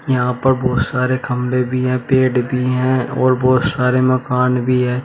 यहां पर बहोत सारे खंबे भी है पेड़ भी हैं और बहोत सारे मकान भी है।